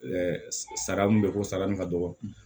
Ɛɛ sara min bɛ ko sara nin ka dɔgɔ